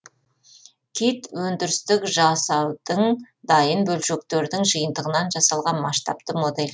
кит өндірістік жасаудың дайын бөлшектердің жиынтығынан жасалған масштабты модель